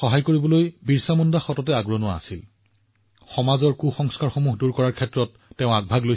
ভগৱান বিৰচা মুণ্ডা সদায় দৰিদ্ৰ আৰু সমস্যাগ্ৰস্তসকলক সহায় কৰাৰ ক্ষেত্ৰত শীৰ্ষস্থানত আছিল